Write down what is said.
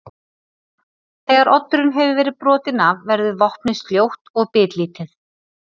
Þegar oddurinn hefur verið brotinn af verður vopnið sljótt og bitlítið.